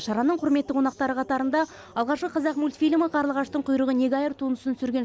шараның құрметті қонақтары қатарында алғашқы қазақ мультфильмі қарлығаштың құйрығы неге айыр туындысын түсірген